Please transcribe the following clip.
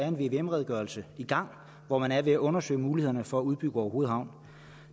en vvm redegørelse i gang hvor man er ved at undersøge mulighederne for at udbygge orehoved havn